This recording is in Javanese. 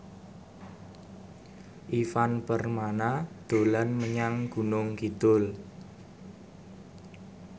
Ivan Permana dolan menyang Gunung Kidul